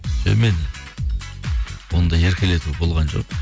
жоқ мен ондай еркелету болған жоқ